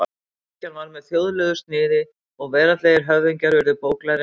Kirkjan varð með þjóðlegu sniði og veraldlegir höfðingjar urðu bóklærðir menn.